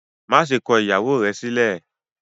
Maṣe kọ ìyàwó rẹ sílẹ!